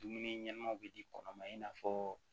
Dumuni ɲɛnɛmaw be di kɔnɔma i n'a fɔɔ